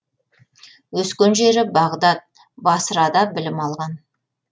өскен жері бағдат басрада білім алған